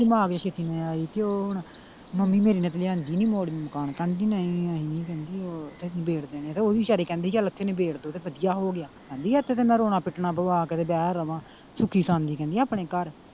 ਤੇ ਉਹ ਹੁਣ ਮੰਮੀ ਮੇਰੀ ਨੇ ਤੇ ਲਿਆਂਦੀ ਨਹੀਂ ਮੋੜਵੀਂ ਮਕਾਨ ਕਹਿੰਦੀ ਨਹੀਂ ਅਸੀਂ ਨਹੀਂ ਕਹਿੰਦੀ ਉਹ ਨਬੇੜ ਦੇਂਦੇ ਤੇ ਉਹ ਵੀ ਵੀਚਾਰਿ ਕਹਿੰਦੀ ਚਲ ਇਥੇ ਨਿਬੇੜ ਦੋ ਤੇ ਵਧੀਆ ਹੋ ਗਿਆ ਵਾ ਕਹਿੰਦੀ ਇਥੇ ਤੇ ਮੈਂ ਰੋਣਾ ਪਿਟਣਾ ਪਵਾ ਕੇ ਤੇ ਬੈ ਰਵਾਂ ਸੁਖੀ ਸਸਾਂਦੀ ਕਹਿੰਦੀ ਆਪਣੇ ਘਰ।